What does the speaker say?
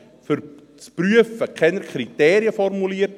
Aber zum Prüfen werden keine Kriterien formuliert.